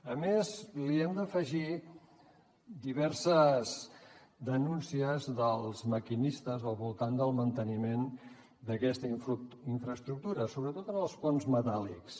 a més hi hem d’afegir diverses denúncies dels maquinistes al voltant del manteniment d’aquesta infraestructura sobretot en els ponts metàl·lics